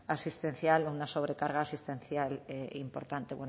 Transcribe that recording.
asistencial una sobrecarga sustancial importante